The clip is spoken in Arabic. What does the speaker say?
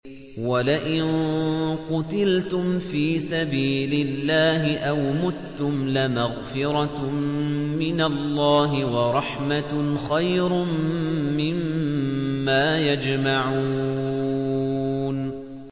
وَلَئِن قُتِلْتُمْ فِي سَبِيلِ اللَّهِ أَوْ مُتُّمْ لَمَغْفِرَةٌ مِّنَ اللَّهِ وَرَحْمَةٌ خَيْرٌ مِّمَّا يَجْمَعُونَ